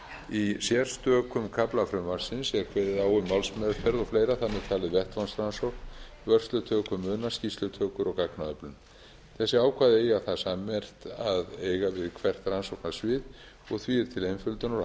í sérstökum kafla frumvarpsins er kveðið á um málsmeðferð og fleira þar með talin vettvangsrannsókn vörslutöku muna skýrslutökur og gagnaöflun þessi ákvæði eiga það sammerkt að eiga við hvert rannsóknarsvið og því er til einföldunar og